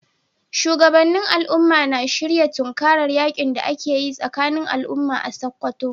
Shugabannin al’umma na shirin tunkarar yakin da ake yi tsakanin al’umma a Sakkwato.